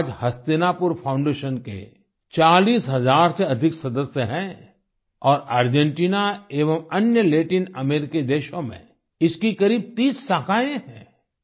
आज हस्तिनापुर फाउंडेशन के 40 हज़ार से अधिक सदस्य हैं और अर्जेंटिना एवं अन्य लैटिन अमेरिकी देशों में इसकी करीब 30 शाखाएं हैं